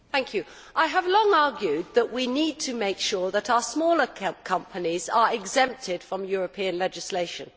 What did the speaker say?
Madam President, I have long argued that we need to make sure that our smaller companies are exempted from European legislation.